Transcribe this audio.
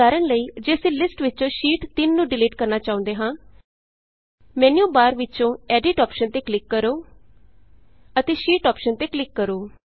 ਉਦਾਹਰਣ ਲਈ ਜੇ ਅਸੀਂ ਲਿਸਟ ਵਿਚੋਂ ਸ਼ੀਟ 3 ਨੂੰ ਡਿਲੀਟ ਕਰਨਾ ਚਾਹੁੰਦੇ ਹਾਂ ਮੈਨਯੂਬਾਰ ਵਿਚੋਂ ਐਡਿੱਟ ਐਡਿਟ ਅੋਪਸ਼ਨ ਤੇ ਕਲਿਕ ਕਰੋ ਅਤੇ ਸ਼ੀਟ ਸ਼ੀਟ ਅੋਪਸ਼ਨ ਤੇ ਕਲਿਕ ਕਰੋ